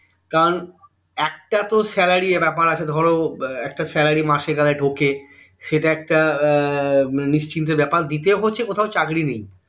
কারণ একটা তো salary এর ব্যাপার আছে ধরো একটা salary মাসে কালে ঢোকে সেটা একটা এর নিশ্চিন্তের ব্যাপার দ্বিতীয় হচ্ছে কোথাও চাকরী নেই